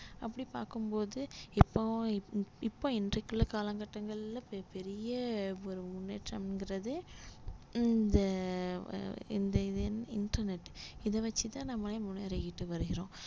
அப்படி பார்க்கும் போது இப்போ இப்~ இப்போ இன்றைக்குள்ள காலகட்டங்கள்ல பெ~ பெரிய ஒரு முன்னேற்றம்கிறது இந்த இந்த இது இன்டர்நெட் இத வச்சுதான் நம்ம முன்னேறிக்கிட்டு வருகிறோம்